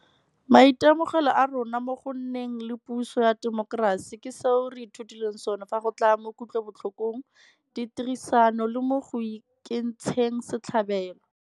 Maitemogelo a rona mo go nneng le puso ya temokerasi ke seo re ithutileng sona fa go tla mo kutlwelobotlhokong, ditherisanong le mo go ikentsheng setlhabelo.